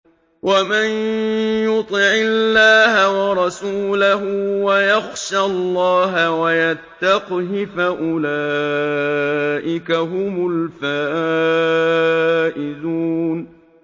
وَمَن يُطِعِ اللَّهَ وَرَسُولَهُ وَيَخْشَ اللَّهَ وَيَتَّقْهِ فَأُولَٰئِكَ هُمُ الْفَائِزُونَ